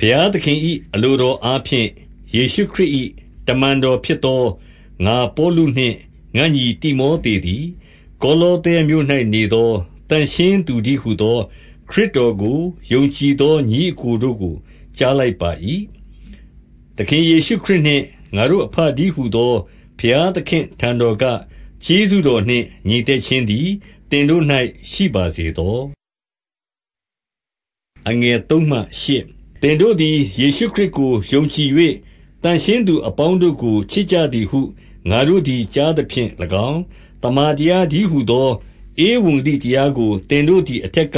ဘုရားသခင်၏ အလိုတော်အားဖြင့် ယေရှုခရစ်၏ တမန်တော်ဖြစ်သော ငါပေါလုနှင့် ငါညီတိမော သေသည်၊ 2 ကောလောသဲမြို့၌နေသော သန့်ရှင်းသူတည်းဟူသော၊ ခရစ်တော်ကို ယုံကြည်သောညီအစ်ကိုတို့ကို ကြားလိုက်ပါ၏။ သခင်ယေရှုခရစ်နှင့် ငါတို့အဘတည်းဟူသော ဘုရားသခင်အထံတော်က ကျေးဇူးတော်နှင့် ငြိမ်သက်ခြင်းသည် သင်တို့၌ ရှိပါစေသော။ 3 သင်တို့သည် ယေရှုခရစ်ကိုယုံကြည်၍၊ သန့်ရှင်းသူအပေါင်းတို့ကို ချစ်ကြသည်ဟု ငါတို့သည် ကြားသဖြင့်၎င်း၊ 4 သမ္မာတရားတည်းဟူသော ဧဝံဂေလိတရားကို သင်တို့သည်အထက်က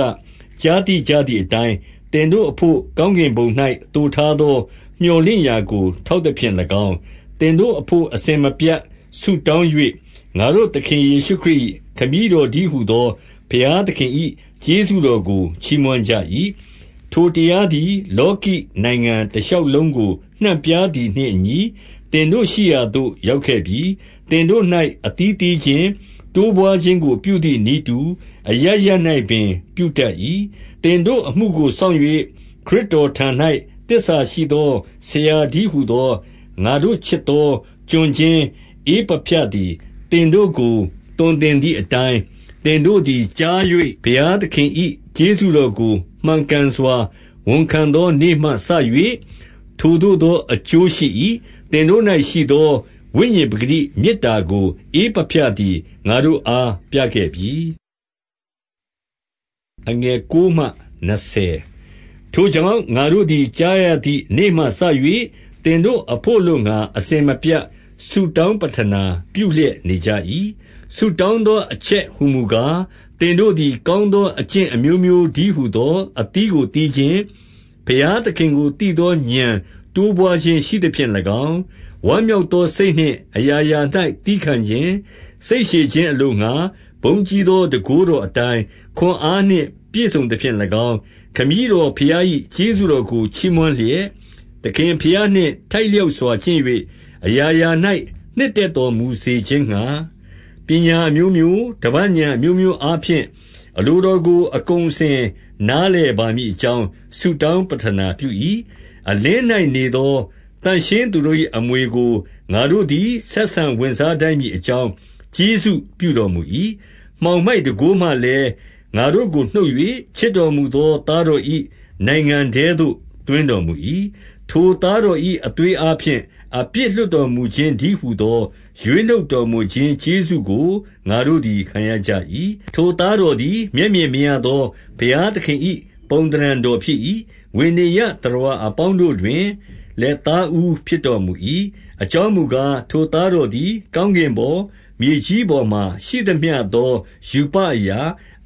ကြားသိကြသည် အတိုင်း၊ သင်တို့ အဘို့ကောင်းကင်ဘုံ၌ သိုထားသော မြော်လင့်ရာကို ထောက်သဖြင့်၎င်း၊ သင်တို့အဘို့ အစဉ်မပြတ် ဆုတောင်း၍၊ 5 ငါတို့သခင်ယေရှုခရစ်၏ ခမည်းတော်တည်းဟူသော ဘုရားသခင်၏ ကျေးဇူးတော်ကို ချီးမွမ်းကြ၏။ 6 ထိုတရားသည် လောကီနိုင်ငံတရှောက်လုံးကို နှံ့ပြားသည်နှင့်အညီ၊ သင်တို့ရှိရာသို့ ရောက်ခဲ့ပြီ။ သင်တို့၌ အသီးသီးခြင်း၊ တိုးပွါးခြင်းကို ပြုသည်နည်းတူ အရပ်ရပ်၌ပင် ပြုတတ်၏။ 7 သင်တို့အမှုကို စောင့်၍၊ ခရစ်တော်ထံ၌ သစ္စာရှိသော ဆရာတည်းဟူသော ငါတို့ချစ်သော ကျွန်ချင်း ဧပဖြသည် သင်တို့ကို သွန်သင်သည်အတိုင်း သင်တို့သည် ကြား၍၊ ဘုရားသခင်၏ ကျေးဇူးတော်ကို မှန်ကန် စွာ ဝန်ခံသောနေ့မှစ၍ ထိုသို့သောအကျိုးရှိ၏။ 8 သင်တို့၌ရှိသော ဝိညာဉ်ပကတိမေတ္တာကို ဧပဖြသည် ငါတို့အားပြခဲ့ပြီ။ 9 ထို့ကြောင့်၊ ငါတို့သည် ကြားရသည်နေ့မှစ၍၊ သင်တို့အဘို့ အလိုငှါ အစဉ်မပြတ်ဆုတောင်း ပဌနာပြုလျက် နေကြ၏။ 10 ဆုတောင်းသောအချက်ဟူမူကား၊ သင်တို့သည် ကောင်းသော အကျင့်အမျိုးမျိုးတည်း ဟူသော အသီးကိုသီးခြင်း၊ ဘုရားသခင်ကိုသိသော ဥာဏ်တိုးပွါးခြင်း ရှိသဖြင့်၎င်း၊ ဝမ်းမြောက်သောစိတ်နှင့် အရာရာ၌ သည်းခံခြင်း၊ စိတ်ရှည်ခြင်းအလိုငှါ၊ ဘုန်းကြီးသော တန်ခိုးတော်အတိုင်း ခွန်အားနှင့် ပြည့်စုံသဖြင့်၎င်း၊ 11 ခမည်းတော်ဘုရား၏ ကျေးဇူးတော်ကို ချီးမွမ်းလျက်၊ သခင်ဘုရားနှင့် ထိုက်လျောက်စွာ ကျင့်၍ အရာရာ၌ နှစ်သက်တော်မူစေခြင်းငှါ၊ ပညာအမျိုးမျိုး၊ ဓမ္မဥာဏ်အမျိုးမျိုးအားဖြင့် အလိုတော်ကို အကုန်အစင်နားလည်ပါမည်အကြောင်း ဆုတောင်းပဌနာပြု၏။ 12 အလင်း၌နေသော သန့်ရှင်းသူတို့၏ အမွေကို ငါတို့သည် ဆက်ဆံဝင်စားထိုက်မည်အကြောင်း ကျေးဇူးပြုတော်မူ၏။ 13 မှောင်မိုက်တန်ခိုးမှလည်း ငါတို့ကိုနှုတ်၍၊ ချစ်တော်မူသော သားတော်၏နိုင်ငံထဲသို့ သွင်းတော်မူ၏။ 14 ထိုသားတော်၏ အသွေးအားဖြင့် အပြစ်လွှတ်တော်မူခြင်းတည်းဟူသော ရွေးနှုတ်တော်မူခြင်း ကျေးဇူး ကို ငါတို့သည် ခံရကြ၏။ 15 ထိုသားတော်သည် မျက်မြင်မရသော ဘုရားသခင်၏ ပုံသဏ္ဍာန်တော်ဖြစ်၏။ ဝေနေယျသတ္တဝါ အပေါင်းတို့တွင်လည်း သားဦးဖြစ်တော်မူ၏။ 16 အကြောင်းမူကား၊ ထိုသားတော်သည် ကောင်းကင်ပေါ်၊ မြေကြီးပေါ်မှာရှိသမျှသော ရူပအရာ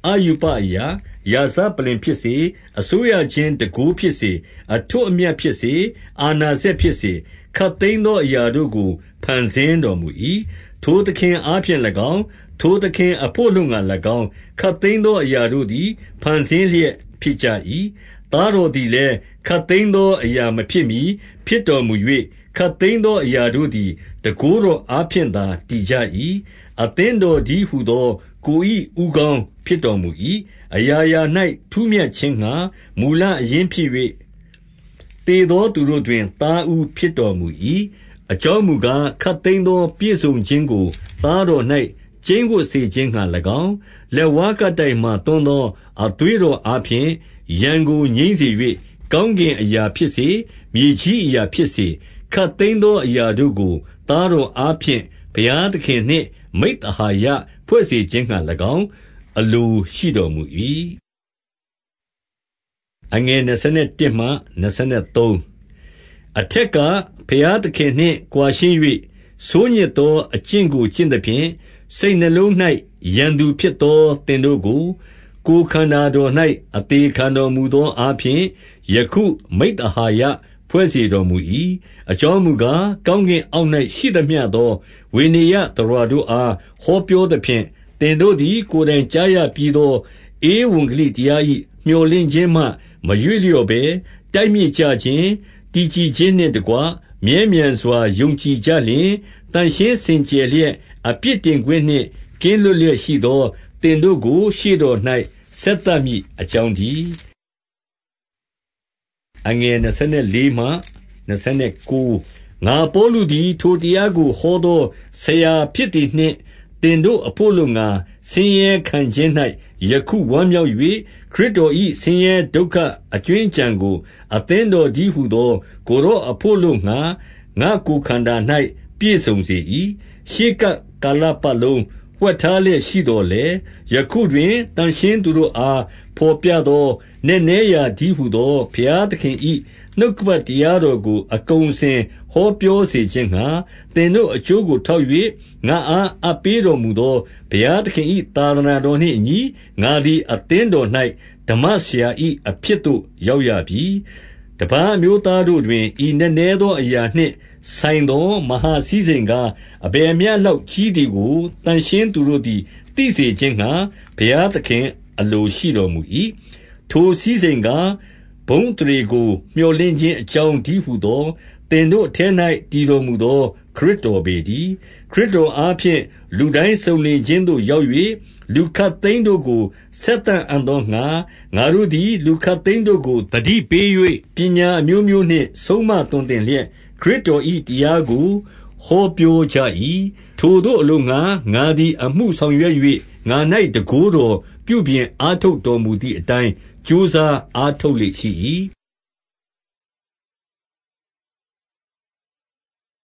၊ အရူပ အရာ၊ ရာဇပလ္လင်ဖြစ်စေ၊ အစိုးရခြင်းတန်ခိုးဖြစ်စေ၊ အထွဋ်အမြတ်ဖြစ်စေ၊ အာဏာစက်ဖြစ်စေ၊ ခပ်သိမ်း သောအရာတို့ကို ဖန်ဆင်းတော်မူ၏။ ထိုသခင်အားဖြင့်၎င်း၊ ထိုသခင်အဘို့ အလိုငှါ၎င်း၊ ခပ်သိမ်းသောအရာတို့ သည် ဖန်ဆင်းလျက်ဖြစ်ကြ၏။ 17 သားတော်သည်လည်း ခပ်သိမ်းသောအရာ မဖြစ်မှီ ဖြစ်တော်မူ၍ ခပ်သိမ်းသောအရာတို့သည် တန်ခိုးတော်အားဖြင့်သာ တည်ကြ၏။ 18 အသင်းတော်တည်းဟူသော ကိုယ်၏ဦးခေါင်း ဖြစ်တော်မူ၏။ အရာရာ၌ ထူးမြတ်ခြင်းငှါ မူလအရင်း ဖြစ်၍၊ သေသောသူတို့တွင် သားဦးဖြစ်တော်မူ၏။ 19 အကြောင်းမူကား၊ ခပ်သိမ်းသောပြည့်စုံခြင်းကို သားတော်၌ ကျိန်းဝပ်စေခြင်းငှါ၎င်း၊ 20 လက်ဝါးကပ်တိုင်မှာ သွန်းသောအသွေးတော်အားဖြင့် ရန်ကိုငြိမ်းစေ၍၊ ကောင်းကင်အရာဖြစ်စေ၊ မြေကြီးအရာဖြစ်စေ၊ ခပ်သိမ်းသောအရာတို့ကို သားတော်အားဖြင့် ဘုရားသခင်နှင့် မိဿဟာယဖွဲ့စေ ခြင်းငှါ၎င်း အလိုရှိတော်မူ၏။ 21 အထက်က ဘုရားသခင်နှင့်ကွာရှင်း၍၊ ဆိုးညစ်သောအကျင့်ကို ကျင့်သဖြင့် စိတ်နှလုံး၌ ရန်သူဖြစ်သော သင်တို့ကို၊ ကိုယ်ခန္ဓတော်၌ အသေခံတော်မူသော အားဖြင့်၊ ယခုမိဿဟာယဖွဲ့စေတော်မူ၏။ 22 အကြောင်းမူကား၊ ကောင်းကင်အောက်၌ ရှိသမျှသော ဝေနေယျသတ္တဝါတို့အား ဟောပြောသဖြင့်၊ သင်တို့သည် ကိုယ်တိုင်ကြားရပြီးသော ဧဝံဂေလိတရား၏ မြော်လင့်ခြင်းမှ မရွေ့လျော့ဘဲ၊ 23 တိုက်မြစ်ကျခြင်း၊ တည်ကြည်ခြင်းနှင့်တကွ မြဲမြံစွာယုံကြည်ကြလျှင်၊ သန့်ရှင်းစင်ကြယ်လျက် အပြစ်တင်ခွင့်နှင့် ကင်းလွတ်လျက်ရှိသော သင်တို့ကို ရှေ့တော်၌ ဆက်သမည်အကြောင်းတည်း။ 24 ငါပေါလုသည် ထိုတရားကို ဟောသောဆရာဖြစ်သည်နှင့် သင်တို့အဘို့အလိုငှါ ဆင်းရဲခံခြင်း၌ ယခု ဝမ်းမြောက်၍၊ ခရစ်တော်၏ ဆင်းရဲဒုက္ခအကြွင်းအကျန်ကို အသင်းတော်တည်းဟူသော ကိုယ်တော်အဘို့ အလိုငှါ ငါ့ကိုယ်ခန္ဓာ၌ ပြည့်စုံစေ၏။ 25 ရှေးကပ်ကာလပတ်လုံး ဝှက်ထားလျက်ရှိသော်လည်း၊ ယခုတွင် သန့်ရှင်းသူတို့အား ဘော်ပြသော နက်နဲရာတည်းဟူသော ဘုရားသခင်၏ နှုတ်ကပတ်တရားတော်ကို အကုန်အစင် ဟောပြောစေခြင်းငှါ၊ 26 သင်တို့အကျိုးကို ထောက်၍၊ ငါအား အပ်ပေးတော်မူသော ဘုရားသခင်၏ သာသနာတော်နှင့်အညီ၊ ငါသည် အသင်းတော်၌ ဓမ္မဆရာ၏ အဖြစ်သို့ရောက်ရပြီ။ 27 တပါးအမျိုးသားတို့တွင် ဤနက်နဲသောအရာနှင့်ဆိုင်သော မဟာစည်းစိမ်ကား၊ အဘယ်မျှလောက်ကြီး သည်ကို သန့်ရှင်းသူတို့သည် သိစေခြင်းငှါ၊ ဘုရားသခင် အလိုရှိတော်မူ၏။ ထိုစည်းစိမ်ကား၊ ဘုန်းအသရေကို မြော်လင့်ခြင်းအကြောင်းတည်းဟူသော သင်တို့အထဲ၌ တည်တော်မူသော ခရစ်တော်ပေတည်း။ 28 ခရစ်တော်အားဖြင့် လူတိုင်းစုံလင်ခြင်းသို့ ရောက်၍ လူခပ်သိမ်းတို့ကို ဆက်သအံ့သောငှါ၊ ငါတို့သည် လူခပ်သိမ်းတို့ကို သတိပေး၍ ပညာအမျိုးမျိုးနှင့် ဆုံးမသွန်သင်လျက် ခရစ်တော်၏တရားကို ဟောပြောကြ၏။ 29 ထိုသို့အလိုငှါ ငါသည် အမှုဆောင်ရွက်၍၊ ငါ၌ တန်ခိုးတော် ပြုပြင်အားထုတ်တော်မူသည်အတိုင်း ကြိုးစားအားထုတ်လေ့ရှိ၏။